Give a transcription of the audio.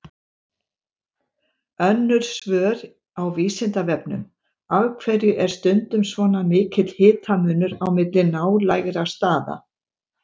Önnur svör á Vísindavefnum: Af hverju er stundum svona mikill hitamunur á milli nálægra staða?